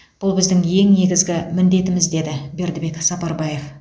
бұл біздің ең негізгі міндетіміз деді бердібек сапарбаев